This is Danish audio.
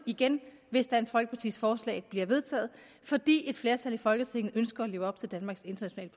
igen hvis dansk folkepartis forslag bliver vedtaget fordi et flertal i folketinget ønsker at leve op til danmarks internationale